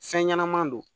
Fɛn ɲɛnɛma don